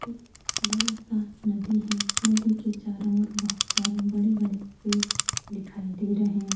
एक बड़ा सा नदी है। नदी के चारों ओर बहुत सारे बड़े-बड़े पेड़ दिखाई दे रहे।